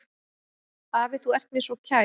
Afi, þú ert mér svo kær.